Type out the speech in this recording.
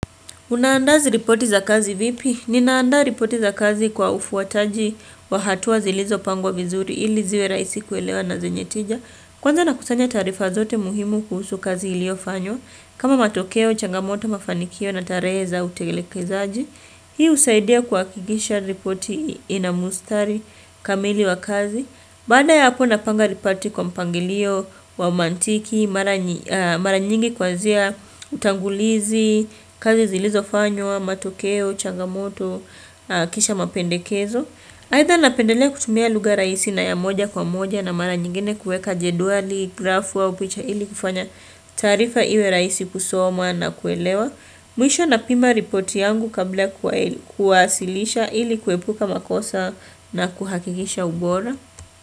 Unaanda izi ripoti za kazi vipi? Ninaanda ripoti za kazi kwa ufuataji wa hatua zilizo pangwa vizuri ili ziwe rahisi kuelewa na zenyetija. Kwanza nakusanya taarifa zote muhimu kuhusu kazi ilio fanywa. Kama matokeo, changamoto, mafanikio na tarehe za utegelekezaji. Hii husaidia kuhakikisha ripoti inamustari kamili wa kazi. Baada ya hapo napanga ripati kwa mpangilio wa mantiki, mara nyingi kuanzia utangulizi, kazi zilizo fanywa matokeo, changamoto, kisha mapendekezo. Aidha napendelea kutumia luga rahisi na ya moja kwa moja na mara nyingine kuweka jedwali, graph au picha ili kufanya taarifa iwe rahisi kusomwa na kuelewa. Mwisho napima ripoti yangu kabla kuwasilisha ili kuepuka makosa na kuhakikisha ubora.